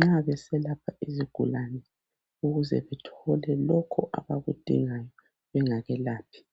nxa beselapha izigulane ukuze bethole lokhu abakudingayo bengakelaphi izigulane.